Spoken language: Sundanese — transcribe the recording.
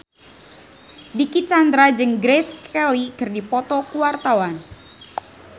Dicky Chandra jeung Grace Kelly keur dipoto ku wartawan